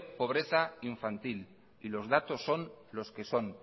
pobreza infantil y los datos son los que son